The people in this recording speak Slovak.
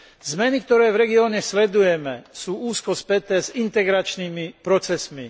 Zmeny, ktoré v regióne sledujeme, sú úzko späté s integračnými procesmi.